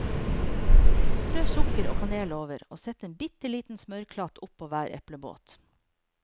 Strø sukker og kanel over, og sett en bitteliten smørklatt oppå hver eplebåt.